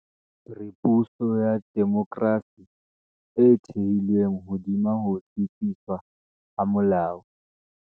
Re puso ya demokrasi e thehilweng hodima ho tsitsiswa ha molao.